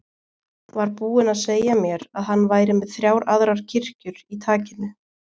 Var búinn að segja mér að hann væri með þrjár aðrar kirkjur í takinu.